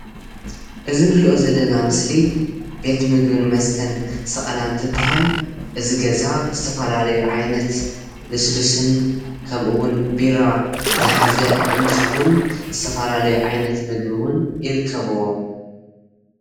እዚ እንሪኦ ዘለና ምስሊ ቤት ምግብን መስተን ሰቀላ እንትባሃል እዚ ገዛ ዝተፋላለዩ ዓይነት ልስሉስን ከምኡ እውን ቢራ ዝሓዘ እንትከውን ዝተፈላለዩ ዓይነት ምግቢ እውን ይርከብዎ፡፡